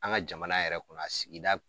An ka jamana yɛrɛ kɔnɔ a sigida